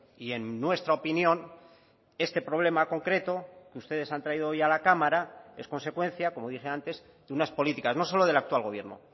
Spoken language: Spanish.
y en nuestra opinión este problema concreto que ustedes han traído hoy a la cámara es consecuencia como dije antes de unas políticas no solo del actual gobierno